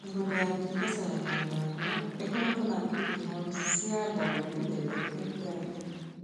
Mĩgũnda ya gĩrigaca ya Nyandarua ĩdotetwo na ngirinihouse cĩhandagwo mĩthemba ĩtiganĩte ya nyeni